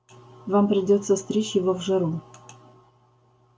вам придётся стричь его в жару